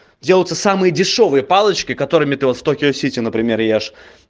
делаются самые дешёвые палочки которыми ты вот токио-сити например ешь